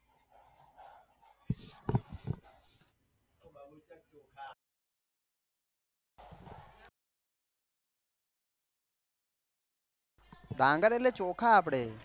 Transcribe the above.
ડાંગર એટલે ચોખા આપડે